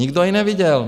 Nikdo ji neviděl.